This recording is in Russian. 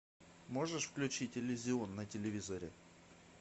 можешь включить иллюзион на телевизоре